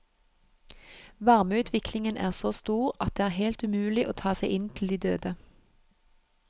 Varmeutviklingen er så stor at det er helt umulig å ta seg inn til de døde.